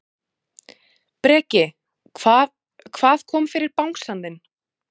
Breki: Hvað, hvað kom fyrir bangsann þinn?